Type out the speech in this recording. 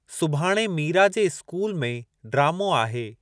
सुभाणे मीरा जे इस्कूल में ड्रामो आहे।